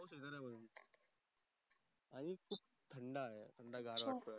आणि खूप थंड आहे थंडगार